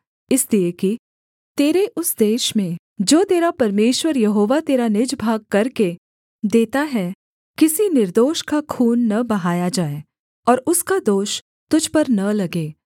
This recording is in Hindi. इसलिए कि तेरे उस देश में जो तेरा परमेश्वर यहोवा तेरा निज भाग करके देता है किसी निर्दोष का खून न बहाया जाए और उसका दोष तुझ पर न लगे